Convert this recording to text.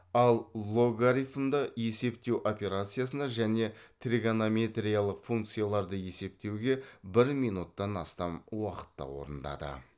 ал логарифмды есептеу операциясына және тригонометриялық функцияларды есептеуге бір минуттан астам уақытта орындады